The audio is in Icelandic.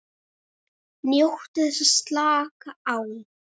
NJÓTTU ÞESS AÐ SLAKA Á